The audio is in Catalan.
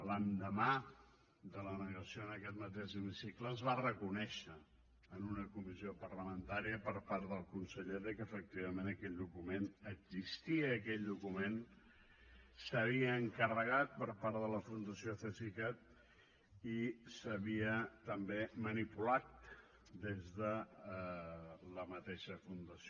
l’endemà de la negació en aquest mateix hemicicle es va reconèixer en una comissió parlamentària per part del conseller que efectivament aquell document existia i aquell document s’havia encarregat per part de la fundació cesicat i s’havia també manipulat des de la mateixa fundació